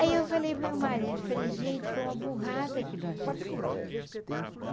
Aí eu falei para o meu marido, falei, gente, foi uma burrada que nós fizemos.